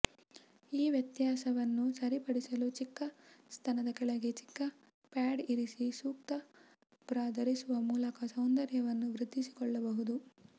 ಈ ವ್ಯತ್ಯಾಸವನ್ನು ಸರಿಪಡಿಸಲು ಚಿಕ್ಕ ಸ್ತನದ ಕೆಳಗೆ ಚಿಕ್ಕ ಪ್ಯಾಡ್ ಇರಿಸಿ ಸೂಕ್ತ ಬ್ರಾ ಧರಿಸುವ ಮೂಲಕ ಸೌಂದರ್ಯವನ್ನು ವೃದ್ಧಿಸಿಕೊಳ್ಳಬಹುದು